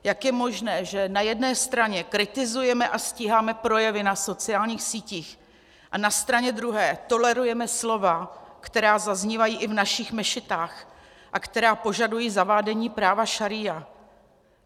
Jak je možné, že na jedné straně kritizujeme a stíháme projevy na sociálních sítích a na straně druhé tolerujeme slova, která zaznívají i v našich mešitách a která požadují zavádění práva šaría?